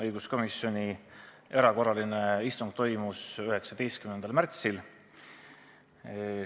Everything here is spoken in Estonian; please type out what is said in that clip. Õiguskomisjoni erakorraline istung toimus 19. märtsil.